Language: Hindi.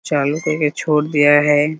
चालू करके छोड़ दिया है ।